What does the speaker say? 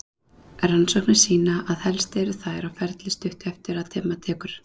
Rannsóknir sýna að helst eru þær á ferli stuttu eftir að dimma tekur.